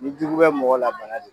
Ni jugu bɛ mɔgɔ la bana don.